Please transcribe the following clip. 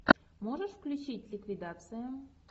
можешь включить ликвидация